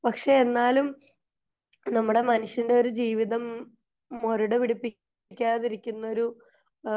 പക്ഷെ എന്നാലും നമ്മുടെ മനുഷ്യന്റെ ഒരു ജീവിതം മൊരട പിടിപ്പിക്കാതിരിക്കുന്ന ഒരു